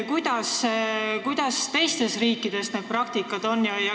Kuidas teistes riikides see praktika on?